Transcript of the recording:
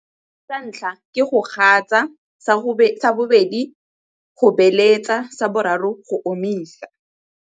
Sa ntlha, ke go gasa. Sa bobedi, go beeletsa. Sa boraro, go omisa.